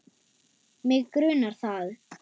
Mig grunar það.